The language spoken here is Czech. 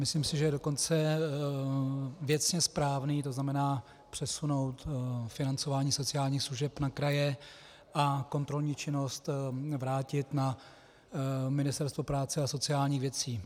Myslím si, že je dokonce věcně správný, to znamená přesunout financování sociálních služeb na kraje a kontrolní činnost vrátit na Ministerstvo práce a sociálních věcí.